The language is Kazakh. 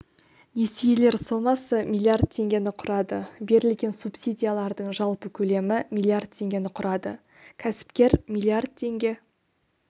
несиелер сомасы миллиард теңгені құрады берілген субсидиялардың жалпы көлемі миллиард теңгені құрады кәсіпкер миллиард теңге